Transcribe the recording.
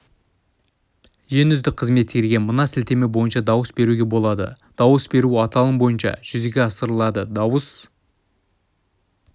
ең үздік қызметкерге мына сілтеме бойынша дауыс беруге болады дауыс беру аталым бойынша жүзеге асырылады дауыс